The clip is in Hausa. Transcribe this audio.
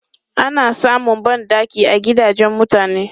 Ana samun ban ɗaki a gidajen mutane.